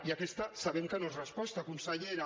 i aquesta sabem que no és resposta consellera